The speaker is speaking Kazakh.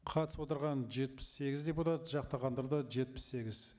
қатысып отырған жетпіс сегіз депутат жақтағандар да жетпіс сегіз